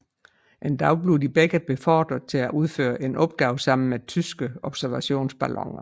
En dag bliver de begge beordret til at udføre en opgave sammen mod tyske observationsballoner